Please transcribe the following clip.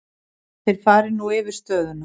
Þeir fari nú yfir stöðuna.